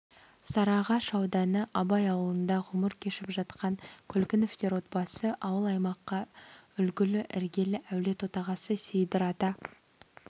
сарыағаш ауданы абай ауылында ғұмыр кешіп жатқан көлгіновтер отбасы ауыл-аймаққа үлгілі іргелі әулет отағасы сейдір ата